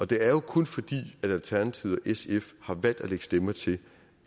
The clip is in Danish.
det er jo kun fordi alternativet og sf har valgt at lægge stemmer til